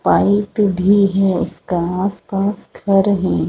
Pipe भी है उसके आस-पास घर हैं।